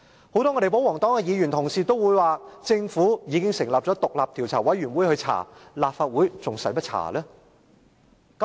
很多保皇黨議員也說政府已成立獨立調查委員會調查，立法會何須再調查？